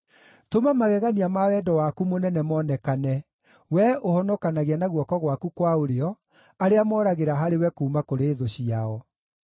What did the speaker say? Tũma magegania ma wendo waku mũnene monekane, Wee ũhonokanagia na guoko gwaku kwa ũrĩo arĩa moragĩra harĩwe kuuma kũrĩ thũ ciao.